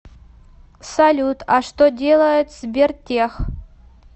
салют а что делает сбертех